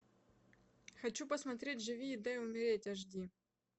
хочу посмотреть живи и дай умереть аш ди